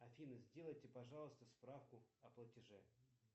афина сделайте пожалуйста справку о платеже